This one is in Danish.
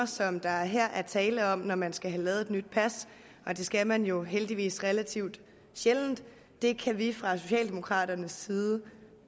som der her er tale om når man skal have lavet et nyt pas og det skal man jo heldigvis relativt sjældent kan vi fra socialdemokraternes side